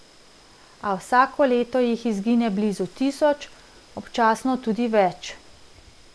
A vsako leto jih izgine blizu tisoč, občasno tudi več.